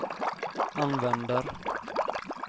använder